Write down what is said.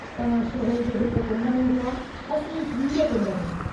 तव्हां शहर जे हिक कुण्ड में हुआ ऐं असीं बीअ कुण्ड में।